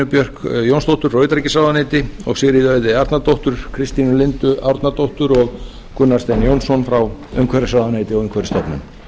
björk jónsdóttur frá utanríkisráðuneyti og sigríði auði arnardóttur kristínu lindu árnadóttur og gunnar stein jónsson frá umhverfisráðuneyti og umhverfisstofnun